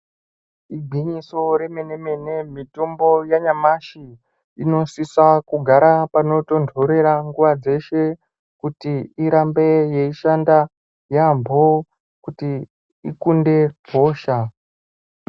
Igwinyiso remenemene mitombo yanyamashi inosisa kugara panotondorera nguwa dzeshe kuti irambe yeishanda yaambo kuti ikunde hosha.